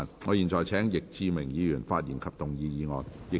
我現在請易志明議員發言及動議議案。